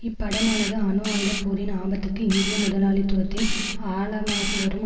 இப்படமானது அணு ஆயுத போரின் ஆபத்துக்கு இந்திய முதலாளித்துவத்தின் ஆழமாகிவரும்